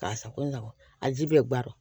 K'a sago sago a ji bɛ baro